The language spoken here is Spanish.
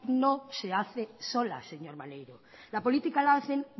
no se hace sola señor maneiro la política la hacen